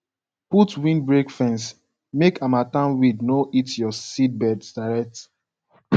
put windbreak fence make harmattan wind no hit your seedbeds direct